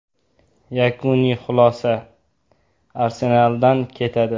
Yakuniy xulosa: “Arsenal”dan ketadi.